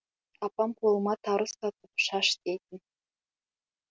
апам қолыма тары ұстатып шаш дейтін